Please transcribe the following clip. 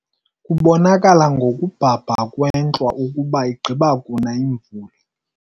Kubonakala ngokubhabha kwentlwa ukuba igqiba kuna imvula.